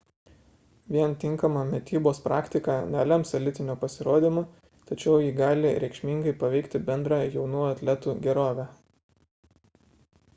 vien tinkama mitybos praktika nelems elitinio pasirodymo tačiau ji gali reikšmingai paveikti bendrą jaunų atletų gerovę